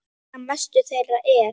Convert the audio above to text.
Einna mestur þeirra er